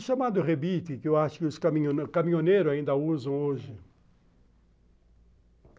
O chamado rebite, que eu acho que os caminho caminhoneiros ainda usam hoje.